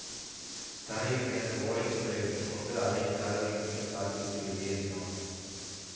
தரையில் கிடந்த ஓலை சுருளை எடுத்து கொண்டு அறையின் கதவை மீண்டும் சாத்திவிட்டு வெளியேறினான்